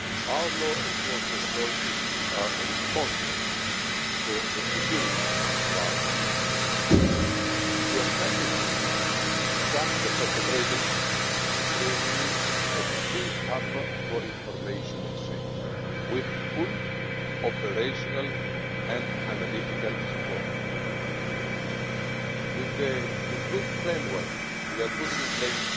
Our law enforcement authorities are responsible for the security of our citizens. To effectively track the perpetrators they need a true hub for information exchange, with full operational and analytical support. With the improved framework we are putting in place, Europol will be able to connect the dots and give Member States the support they need to fight terrorism and serious crime.